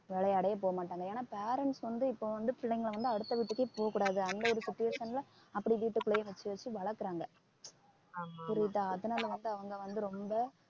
விளையாடவே போக மாட்டாங்க ஏன்னா parents வந்து இப்போ வந்து பிள்ளைங்களை வந்து அடுத்த வீட்டுக்கே போக கூடாது அந்த ஒரு situation ல அப்பிடியே வீட்டுக்குள்ளேயே வச்சு வச்சு வளர்க்கிறாங்க புரியுதா அதனால வந்து அவங்க வந்து ரொம்ப